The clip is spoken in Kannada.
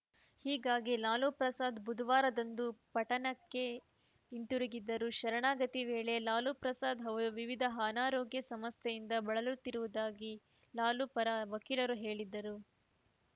ಹೀಗಾಗಿ ಲಾಲು ಪ್ರಸಾದ್‌ ಬುಧವಾರದಂದು ಪಟನಾಕ್ಕೆ ಹಿಂದಿರುಗಿದ್ದರು ಶರಣಾಗತಿಯ ವೇಳೆ ಲಾಲು ಪ್ರಸಾದ್‌ ಅವರು ವಿವಿಧ ಅನಾರೋಗ್ಯ ಸಮಸ್ಯೆಯಿಂದ ಬಳಲುತ್ತಿರುವುದಾಗಿ ಲಾಲು ಪರ ವಕೀಲರು ಹೇಳಿದ್ದರು